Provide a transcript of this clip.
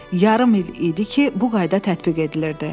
Yarım il idi ki, bu qayda tətbiq edilirdi.